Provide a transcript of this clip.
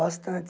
Bastante.